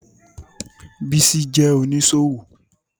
Bísí jẹ́ oníṣòwò